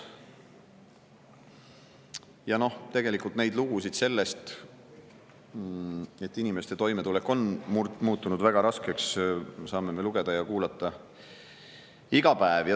Ja noh, tegelikult lugusid sellest, et inimeste toimetulek on muutunud väga raskeks, saame me lugeda ja kuulata iga päev.